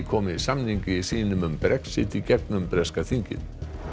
komi samningi sínum um Brexit í gegnum breska þingið